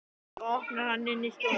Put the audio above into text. Svo opnar hann inn í stofuna.